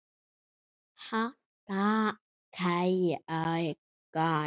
Hann gaf hverju orði gaum.